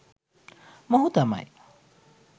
මොහු තමයි